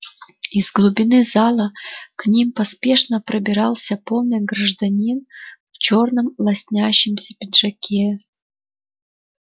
из глубины зала к ним поспешно пробирался полный гражданин в чёрном лоснящемся пиджаке